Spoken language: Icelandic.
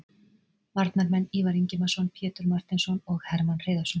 Varnarmenn: Ívar Ingimarsson, Pétur Marteinsson og Hermann Hreiðarsson